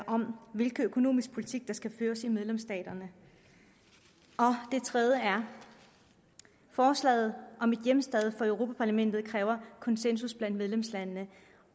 om hvilken økonomisk politik der skal føres i medlemsstaterne den tredje er at forslaget om ét hjemsted for europa parlamentet kræver konsensus blandt medlemslandene